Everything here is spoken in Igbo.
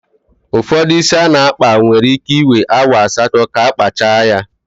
Ụfọdụ ísí a na-akpa nwere íké iwee awa asatọ ka akpacha ya.